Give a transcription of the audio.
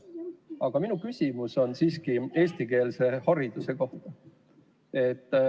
Aga minu küsimus on eestikeelse hariduse kohta.